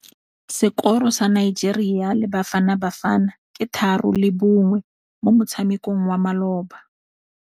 Sekôrô sa Nigeria le Bafanabafana ke 3-1 mo motshamekong wa malôba.